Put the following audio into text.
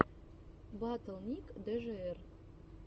батл ник джр